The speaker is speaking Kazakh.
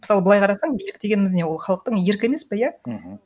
мысалы былай қарасаң билік дегеніміз не ол халықтың еркі емес пе иә мхм